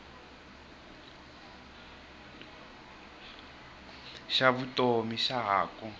xa vutomi xa ha ku